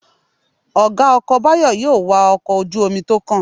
Ọ̀gá ọkọ̀ Báyọ̀ yóò wa ọkọ̀ ojú-omi tó kàn